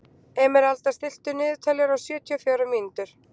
Emeralda, stilltu niðurteljara á sjötíu og fjórar mínútur.